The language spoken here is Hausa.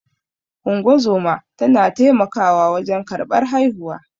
Ungozoma tana taimakawa wajen karɓar haihuwa.